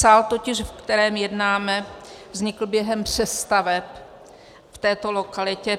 Sál totiž, ve kterém jednáme, vznikl během přestaveb v této lokalitě.